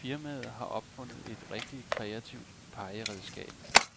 Firmaet har opfundet et rigtigt kreativt pegeredskab.